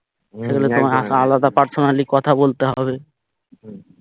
হম সেখানে তোমাকে আলাদা personally কথা বলতে হবে